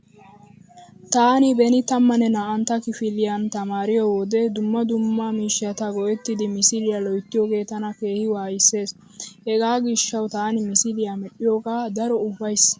Taani beni tammanne naa"antta kifiliyan tamaariyo wode dumma dumma miishshata go'ettidi misiliya loyyytiyogee tana keehi waayissees. Hegaa gishshawu taani misiliya medhdhiyogaa daro uufays.